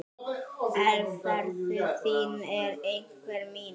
Velferð þín er einnig mín.